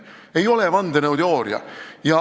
See ei ole vandenõuteooria.